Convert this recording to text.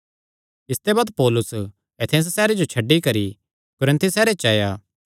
इसते बाद पौलुस एथेंस सैहरे जो छड्डी करी कुरिन्थुस सैहरे च आया